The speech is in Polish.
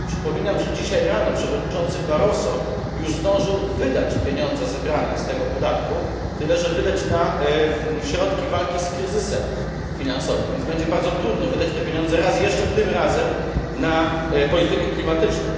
Przypominam, że dzisiaj rano przewodniczący Barroso już zdążył wydać pieniądze zebrane z tego podatku, tyle że wydał je na środki walki z kryzysem finansowym, więc będzie bardzo trudno wydać te pieniądze raz jeszcze, tym razem na politykę klimatyczną.